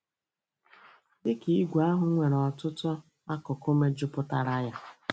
Dị ka ìgwè, àhụ́ nwere ọtụtụ akụkụ mejupụtara ya.